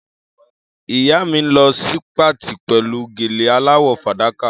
Ìyá mi ń lọ sí patí pẹ̀lú gèlè aláwọ̀ fàdákà.